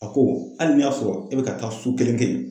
A ko hali n'i y'a sɔrɔ e bɛ ka taa su kelen kɛ yen